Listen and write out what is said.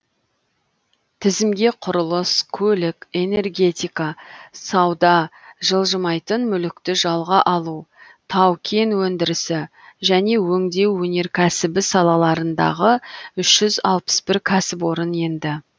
тізімге құрылыс көлік энергетика сауда жылжымайтын мүлікті жалға алу тау кен өндірісі және өңдеу өнеркәсібі салаларындағы үш жүз алпыс бір кәсіпорын енді